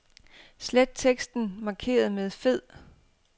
Slet teksten markeret med fed.